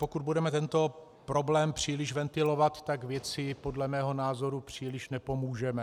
Pokud budeme tento problém příliš ventilovat, tak věci podle mého názoru příliš nepomůžeme.